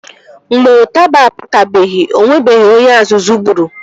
Mgbe ụtaba apụtabeghi o nwebeghi onye azụzụ gburu